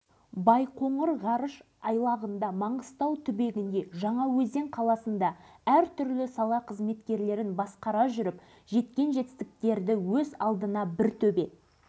жылы шымкент химия-технологиялық институтын бітіріп мұнай газ өңдеу саласы бойынша мамандық алған